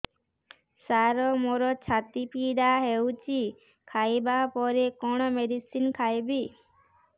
ସାର ମୋର ଛାତି ପୀଡା ହଉଚି ଖାଇବା ପରେ କଣ ମେଡିସିନ ଖାଇବି